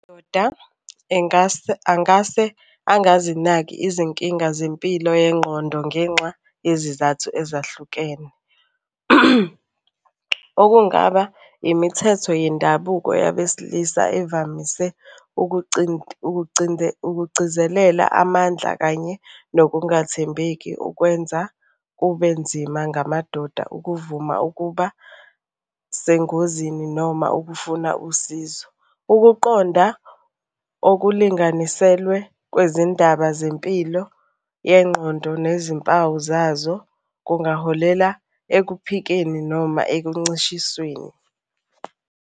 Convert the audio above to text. Amadoda engase angase angazinaki izinkinga zempilo yengqondo ngenxa yezizathu ezahlukene. Okungaba imithetho yendabuko yabesilisa evamise ukugcizelela amandla kanye nokungathembheki okwenza kube nzima ngamadoda ukuvuma ukuba sengozini noma ukufuna usizo. Ukuqonda okulinganiselwe kwezindaba zempilo yengqondo nezimpawu zazo kungaholela ekuphikeni noma ekuncishisweni.